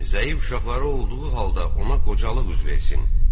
Zəif uşaqları olduğu halda ona qocalıq üz versin.